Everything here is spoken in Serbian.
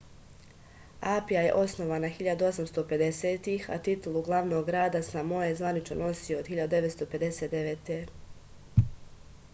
apija je osnovana 1850-ih a titulu glavnog grada samoe zvanično nosi od 1959